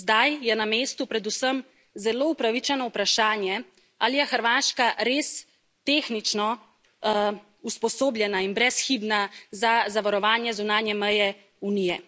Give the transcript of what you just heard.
Zdaj je na mestu predvsem zelo upravičeno vprašanje, ali je Hrvaška res tehnično usposobljena in brezhibna za zavarovanje zunanje meje Unije.